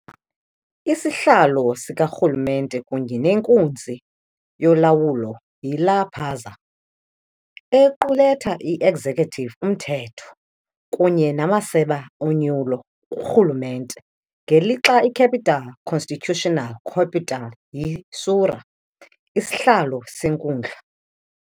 Isihlalo sikarhulumente kunye nenkunzi yolawulo yiLa Paz, equletha i-executive, umthetho, kunye namaseba onyulo kurhulumente, ngelixa i-capital-constitutional capital yi-Sucre, isihlalo senkundla.